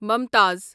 ممتاز